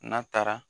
N'a taara